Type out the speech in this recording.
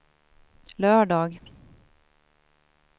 lördag